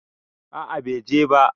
A'a bai je ba